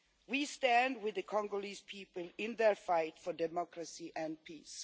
We stand with the Congolese people in their fight for democracy and peace.